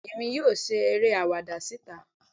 bẹẹni emí yóò ṣe eré awáda sitá